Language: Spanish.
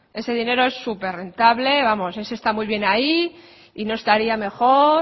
ese dinero es súper rentable vamos ese está muy bien ahí y no estaría mejor